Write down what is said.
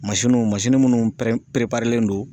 munnu perepareledon perelen don